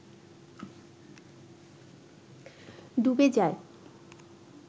ডুবে যায়